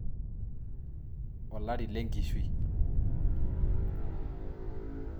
Olari lengishui.